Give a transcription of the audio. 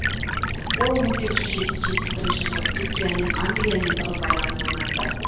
ол жылы түркиямен англиямен тығыз байланыс орнатты